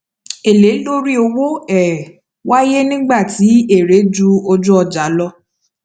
èlé lórí owó um waye nígbà tí èrè ju ojúọjà lọ